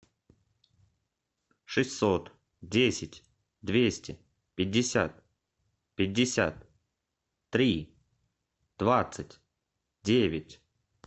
шестьсот десять двести пятьдесят пятьдесят три двадцать девять